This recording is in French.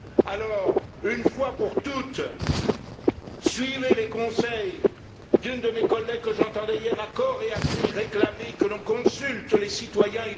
Alors, une fois pour toutes, suivez les conseils d'une de mes collègues que j'entendais hier réclamer à cor et à cri que l'on consulte les citoyens